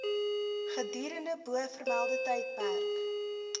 gedurende bovermelde tydperk